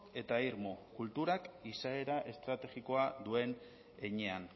eta irmo kulturak izaera estrategikoa duen heinean